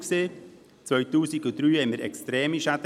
2003 hatten wir extreme Schäden.